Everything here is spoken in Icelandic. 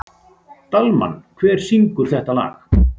Dalmann, hver syngur þetta lag?